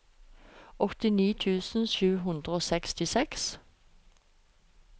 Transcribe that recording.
åttini tusen sju hundre og sekstiseks